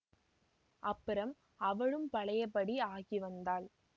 அப்புறம் அவளும் பழையபடி ஆகி வந்தாள்